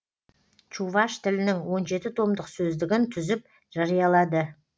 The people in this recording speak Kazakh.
чуваш тілінің он жеті томдық сөздігін түзіп жариялады